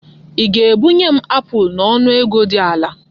Ị ga-ebunye m apụl n'ọnụ ego dị ala?